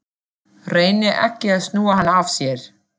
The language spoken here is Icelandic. Reynir ekki að snúa hann af sér.